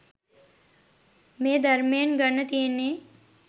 මේ ධර්මයෙන් ගන්න තියෙන්නේ.